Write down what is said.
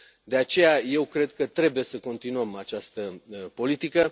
De aceea, eu cred că trebuie să continuăm această politică.